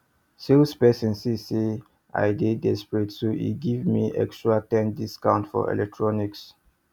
salesperson see say i dey desperate so e give me extra ten discount for electronics